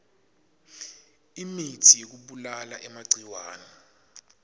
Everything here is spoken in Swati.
emitsi yekubulala emagciwane